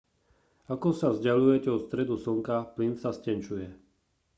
ako sa vzdaľujete od stredu slnka plyn sa stenčuje